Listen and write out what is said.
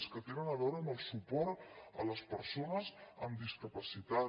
les que tenen a veure amb el suport a les persones amb discapacitat